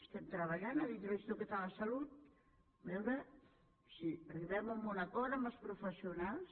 estem treballant a dintre l’institut català de la salut a veure si arribem a un acord amb els professionals